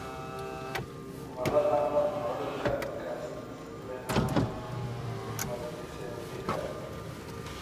Ma la dhaxlo cudurka Castleman multicentrika?